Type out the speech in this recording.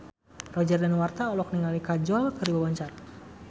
Roger Danuarta olohok ningali Kajol keur diwawancara